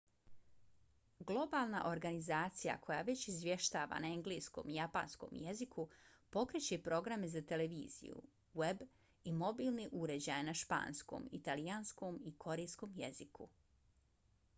globalna organizacija koja već izvještava na engleskom i japanskom jeziku pokreće programe za televiziju web i mobilne uređaje na španskom italijanskom i korejskom jeziku